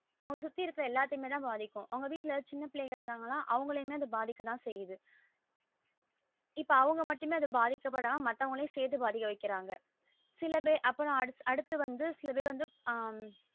அவங்கள சுத்தி இருக்குற எல்லாத்தையுமே தா பாதிக்கும் அவங்க வீட்டுல சின்ன பிள்ளைங்க இருந்தாங்கன்னா அவங்களையும் அது பாதிக்கத்தான் செய்யுது இப்ப அவங்க மட்டுமே பாதிக்க படம்மா மாத்தவங்களையும் செத்து பாதிக்க வைக்குறாங்க சில பேர் அப்புறம் அடுத்து வந்து சிலபேர் வந்து ஆஹ்